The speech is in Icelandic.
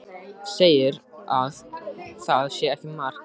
Segir að það sé ekkert mark á mér takandi.